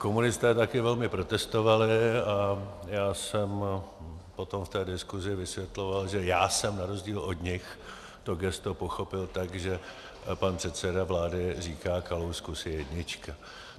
Komunisté také velmi protestovali a já jsem potom v té diskusi vysvětloval, že já jsem na rozdíl od nich to gesto pochopil tak, že pan předseda vlády říká: Kalousku, jsi jednička.